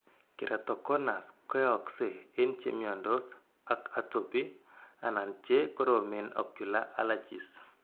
Keratoconus koyakse en chemyandos ak atopy anan che koromen ocullar allergies.